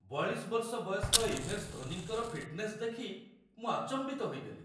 ୪୨ ବର୍ଷ ବୟସ୍କ ଏମ୍.ଏସ୍. ଧୋନିଙ୍କର ଫିଟନେସ୍ ଦେଖି ମୁଁ ଆଚମ୍ବିତ ହୋଇଗଲି।